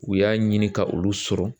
U y'a ɲini ka olu sɔrɔ